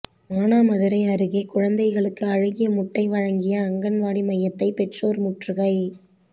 மானாமதுரை அருகே குழந்தைகளுக்கு அழுகிய முட்டை வழங்கிய அங்கன்வாடி மையத்தை பெற்றோா் முற்றுகை